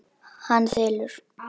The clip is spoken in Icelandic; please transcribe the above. Hann þylur: